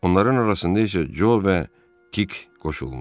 Onların arasında isə Co və Tik qoşulmuşdu.